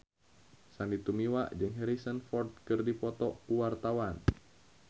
Sandy Tumiwa jeung Harrison Ford keur dipoto ku wartawan